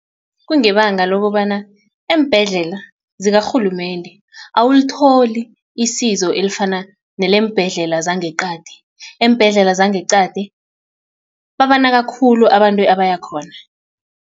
Kungebanga lokobana eembhedlela zikarhulumende awulitholi isizo elifana neleembhedlela zangeqadi eembhedlela zangeqadi babanaka khulu abantu abaya khona.